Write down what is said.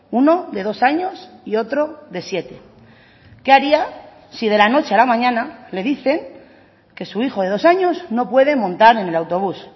uno de dos años y otro de siete qué haría si de la noche a la mañana le dicen que su hijo de dos años no puede montar en el autobús